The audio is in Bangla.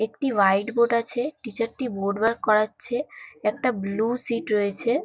একটি হোয়াইট বোর্ড আছে। টিচার -টি বোর্ড ওয়ার্ক করাচ্ছে। একটা ব্লু সিট্ রয়েছে।